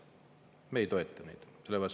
Me ei toeta neid.